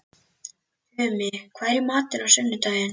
Tumi, hvað er í matinn á sunnudaginn?